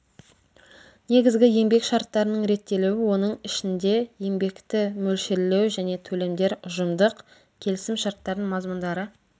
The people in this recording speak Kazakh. негізгі еңбек шарттарының реттелуі оның ішінде еңбекті мөлшерлеу және төлемдер ұжымдық келісім шарттардың мазмұндары